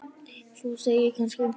Þú segir, kannski?